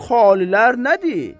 Bu xalilər nədir?